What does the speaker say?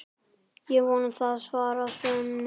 Ég vona það, svarar Svenni.